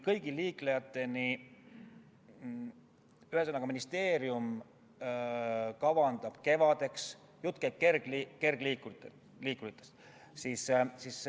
Jutt käib kergliikuritest.